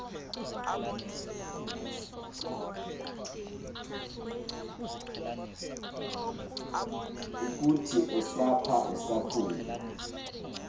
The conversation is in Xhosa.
ukuthi esaph esaph